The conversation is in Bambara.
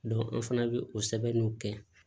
an fana bɛ o sɛbɛn nun kɛ